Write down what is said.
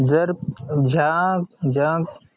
जर अं ज्या ज्या